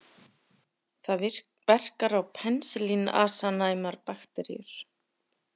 Það verkar á penisilínasanæmar bakteríur.